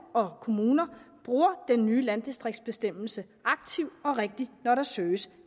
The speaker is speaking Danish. og kommuner bruger den nye landdistriktsbestemmelse aktivt og rigtigt når der søges